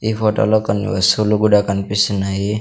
ఈ ఫోటోలో కొన్ని వస్తువులు కూడా కన్పిస్తున్నాయి.